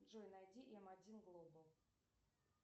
джой найди м один глобал